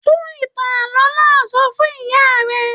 Tún ìtàn ààlọ́ náà sọ fún ìyá rẹ!